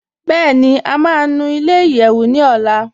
Bẹẹni, à má nù ilẹ̀-ìyẹ́wù ní ọ̀là.